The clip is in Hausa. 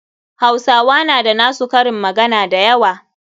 Hausawa na da na su karin magana da yawa.